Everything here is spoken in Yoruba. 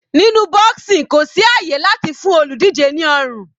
Nínú boxing kò sí àyè láti fún olùdíje ní ọrùn.